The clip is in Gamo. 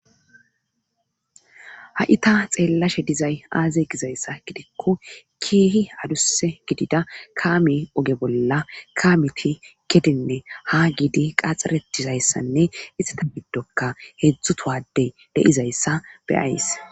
ha7i ta xeellashe dizay aaze gizayssa gidikko kiihi adusse gidida kaame oge bolla kaamiti kedenne ha giidi qaxxaretizayssanne istata biddokka heedzdzutowadey deizayssa be'ays